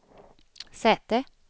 säte